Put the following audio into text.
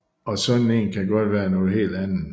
Og sådan en kan godt være noget helt andet